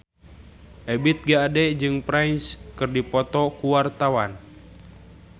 Ebith G. Ade jeung Prince keur dipoto ku wartawan